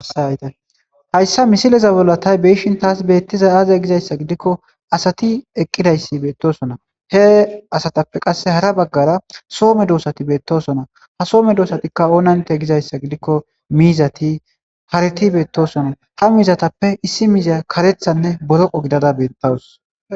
Hayssa misileza bollatay beishin taas beettiza aaziya gizayssa gidikko asati eqqidayssi beettosona he asatappe qasse hara baggara soome doosati beettosona ha soome doosatikka oonante gizayssa gidikko miizati hariti beettosona ha miizatappe issi miizya karethanne boroqo gidada beettawus.